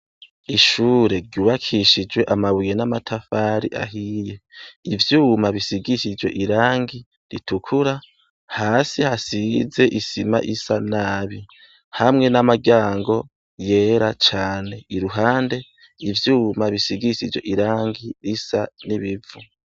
Ishure ryubakishijwe amabuye n'amatafari ahiye, ivyuma bisigishijwe irangi ritukura, hasi hasize isima isa nabi, hamwe n'amaryango yera cane, iruhande ivyuma bisigishijwe irangi risa n'ibivu .